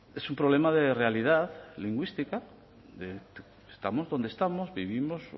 es un problema de realidad lingüística estamos donde estamos vivimos